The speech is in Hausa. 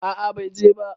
A'a bai je ba